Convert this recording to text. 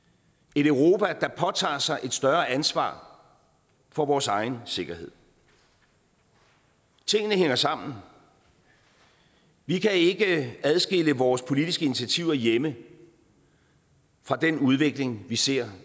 et europa der påtager sig et større ansvar for vores egen sikkerhed tingene hænger sammen vi kan ikke adskille vores politiske initiativer hjemme fra den udvikling vi ser